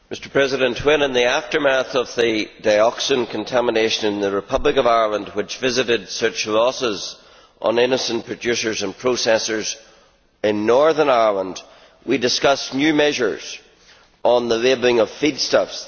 Mr President, in the aftermath of the dioxin contamination in the Republic of Ireland which visited such losses on innocent producers and processors in Northern Ireland, we discussed new measures on the labelling of feedstuffs.